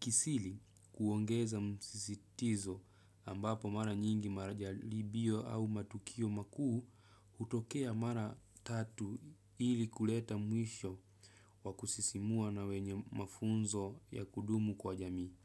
kiasili kuongeza msisitizo ambapo mara nyingi majaribio au matukio makuu hutokea mara tatu ili kuleta mwisho wa kusisimua na wenye mafunzo ya kudumu kwa jamii.